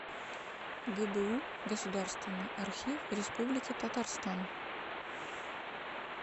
гбу государственный архив республики татарстан